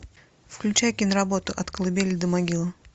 включай киноработу от колыбели до могилы